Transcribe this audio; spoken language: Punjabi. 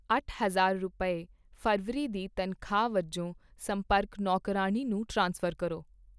ਅੱਠ ਹਜ਼ਾਰ ਰੁਪਏ, ਫ਼ਰਵਰੀ ਦੀ ਤਨਖਾਹ ਵਜੋਂ ਸੰਪਰਕ ਨੌਕਰਾਣੀ ਨੂੰ ਟ੍ਰਾਂਸਫਰ ਕਰੋ